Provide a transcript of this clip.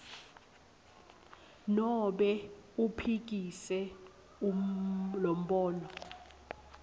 nobe uphikise lombono